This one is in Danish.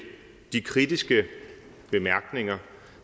de kritiske bemærkninger